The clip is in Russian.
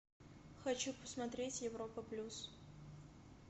хочу посмотреть европа плюс